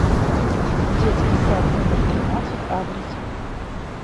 детский сад номер тринадцать адрес